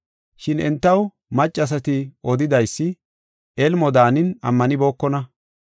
Shin entaw maccasati odidaysi elmo daanin ammanibookona.